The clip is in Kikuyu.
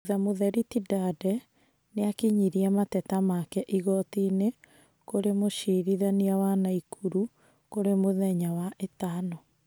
Thutha mũtheri Tindande nĩakinyirie mateta maake igotiinĩ kũrĩ mũcirithanĩa wa Naikuru kũri mũthenya wa ĩtano.